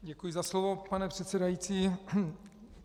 Děkuji za slovo, pane předsedající.